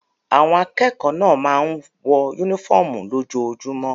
Àwọn akẹ́kọ̀ọ́ náà máa ń wọ únífọ́ọ́mù lójoojúmọ́.